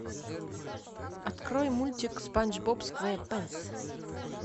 открой мультик спанч боб сквэ пэнс